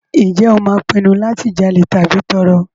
Ǹjẹ́ o máa pinnu láti jalè tàbí tọrọ?